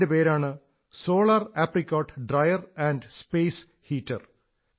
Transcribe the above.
അതിന്റെ പേരാണ് solar apricot dryer and space heater